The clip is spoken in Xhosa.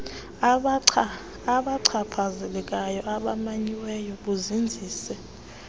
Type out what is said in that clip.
babachaphazelekayo abamanyiweyo buzinzise